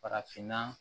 Farafinna